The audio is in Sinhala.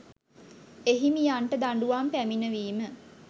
එහිමියන්ට දඬුවම් පැමිණවීම